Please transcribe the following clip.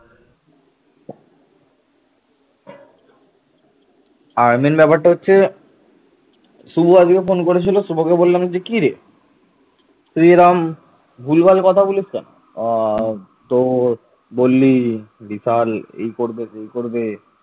পরবর্তীকালে তিব্বতী বার্মানের মতো অন্যান্য ভাষা পরিবারের লোকেরা বাংলায় বসতি স্থাপন করে